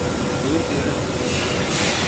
Ooyinta yaree.